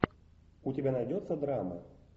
у тебя найдется драма